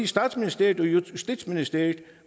statsministeriet og justitsministeriet